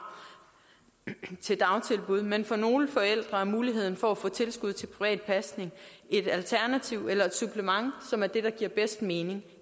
til dagtilbud men for nogle forældre er muligheden for at få tilskud til privat pasning et alternativ eller et supplement som er det der giver bedst mening